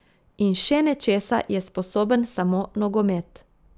In še nečesa je sposoben samo nogomet.